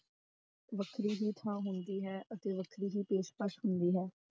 ਵੱਖਰੀ ਹੀ ਥਾਂ ਹੁੰਦੀ ਹੈ ਅਤੇ ਵੱਖਰੀ ਹੀ ਪੇਸ਼ਕਸ ਹੁੰਦੀ ਹੈ।